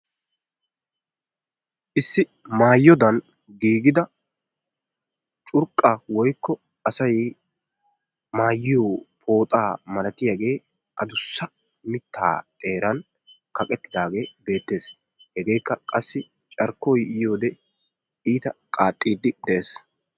Issi maayodaan giigidaa curqqaa woykko asay maayiyoo pooxaa malatiyaagee adussa mittaa xeeran kaqettidaagee beettees. Hegeekka qassi carkkoy yiyoo wode iita qaaxxidi de'ees.